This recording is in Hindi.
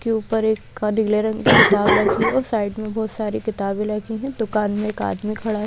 की ऊपर एक का नीले रंग किताब राखी और साइड में बहुत सारी किताबें लगी है दुकान में एक आदमी खड़ा--